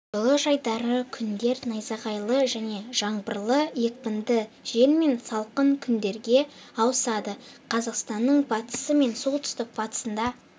жылы жайдары күндер найзағайлы және жаңбырлы екпінді жел мен салқын күндерге ауысады қазақстанның батысы мен солтүстік-батысында